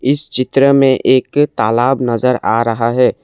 इस चित्र में एक तालाब नजर आ रहा है।